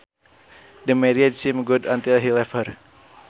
The marriage seemed good until he left her